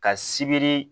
Ka sibiri